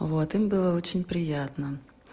а вот им было очень приятно